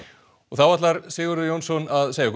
og þá ætlar Sigurður Jónsson að segja okkur